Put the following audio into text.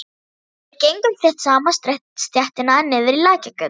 Við gengum þétt saman stéttina niður í Lækjargötu.